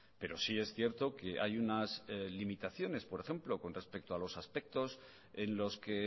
pero sí es cierto que hay unas limitaciones por ejemplo con respecto a los aspectos en los que